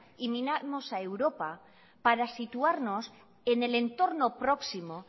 y miramos a europa para situarnos en el entorno próximo